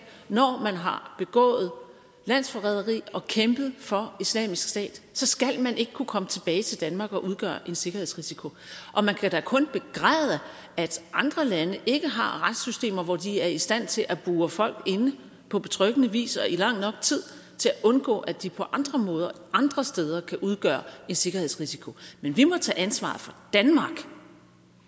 når man har begået landsforræderi og kæmpet for islamisk stat så skal man ikke kunne komme tilbage til danmark og udgøre en sikkerhedsrisiko og man kan da kun begræde at andre lande ikke har retssystemer hvor de er i stand til at bure folk inde på betryggende vis og i lang nok tid til at undgå at de på andre måder andre steder kan udgøre en sikkerhedsrisiko men vi må tage ansvar for danmark